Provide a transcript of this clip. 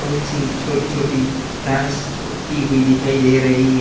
कुछ छोटी छोटी घास उगती हुई दिखाई दे रही है।